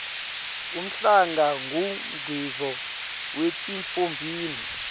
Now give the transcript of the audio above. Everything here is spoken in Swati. umhlanga ngumgidvo wetinffombi